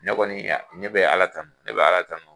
Ne kɔni ne bɛ ala tanu ne bɛ ala tanu.